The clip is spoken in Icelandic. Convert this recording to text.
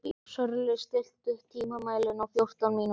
Sörli, stilltu tímamælinn á fjórtán mínútur.